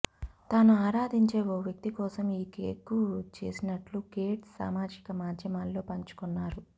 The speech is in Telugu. తాను ఆరాధించే ఓ వ్యక్తి కోసం ఈ కేక్ను చేసినట్టు గేట్స్ సామాజిక మాధ్యమాల్లో పంచుకొన్నారు